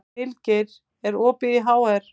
Vilgeir, er opið í HR?